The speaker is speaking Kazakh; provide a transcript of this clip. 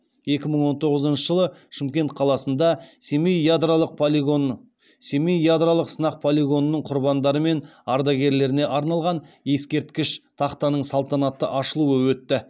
екі мың он тоғызыншы жылы шымкент қаласында семей ядролық сынақ полигонының құрбандары мен ардагерлеріне арналған ескерткіш тақтаның салтанатты ашылуы өтті